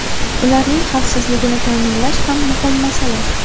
Ularning xavfsizligini ta’minlash xam muhim masala.